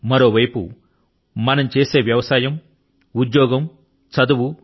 మరో ప్రక్కన మనం చేసే వ్యవసాయం ఉద్యోగం చదువు